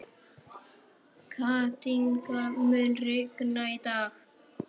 Kathinka, mun rigna í dag?